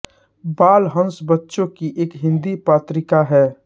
बाल हंस बच्चों की एक हिन्दी पत्रिका है